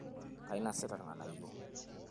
kainosita ilganayio